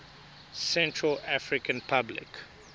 central african republic